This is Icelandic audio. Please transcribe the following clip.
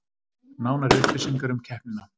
Nánari upplýsingar um keppnina